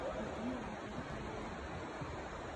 Mũtumia wake arutaga wĩra kũ?